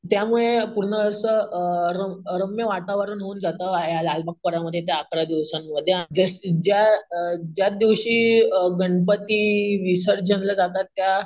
त्यामुळे पूर्ण असं अम रम रम्य वातावरण होऊन जातं लालबाग या लालबाग परळ मध्ये त्या अकरा दिवसांमध्ये आणि ज्या अकरा दिवसांमध्ये आणि ज ज्या दिवशी गणपती विसर्जनला जातात त्या,